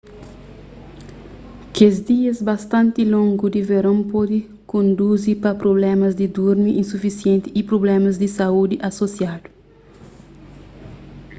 kes dias bastanti longu di veron pode konduzi pa prublémas di durmi sufisienti y a prublémas di saúdi asosiadu